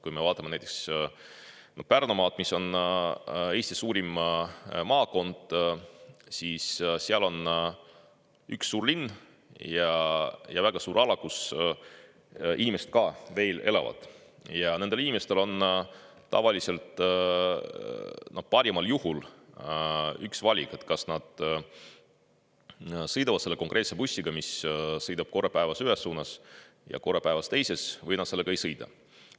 Kui me vaatame näiteks Pärnumaad, mis on Eesti suurim maakond, siis seal on üks suur linn ja väga suur ala, kus inimesed ka veel elavad, ja nendel inimestel on tavaliselt parimal juhul üks valik: kas nad sõidavad selle konkreetse bussiga, mis sõidab korra päevas ühes suunas ja korra päevas teises suunas, või nad sellega ei sõida.